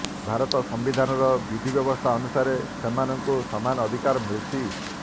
ଭାରତ ସାମ୍ୱିଧାନର ବିଧିବ୍ୟବସ୍ଥା ଅନୁସାରେ ସେମାନଙ୍କୁ ସମାନ ଅଧିକାର ମିଳୁଛି